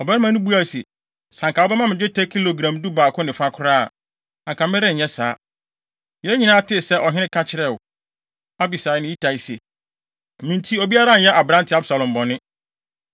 Ɔbarima no buae se, “Sɛ anka wobɛma me dwetɛ kilogram dubaako ne fa koraa a, anka merenyɛ saa. Yɛn nyinaa tee sɛ, ɔhene ka kyerɛɛ wo, Abisai ne Itai se, ‘Me nti, obiara nnyɛ aberante Absalom bɔne.’